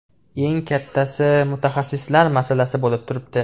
Eng kattasi mutaxassislar masalasi bo‘lib turibdi.